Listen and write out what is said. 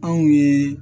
Anw ye